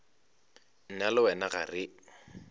nna le wena ga re